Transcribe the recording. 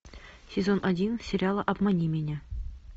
сезон один сериала обмани меня